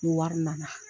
Ni wari nana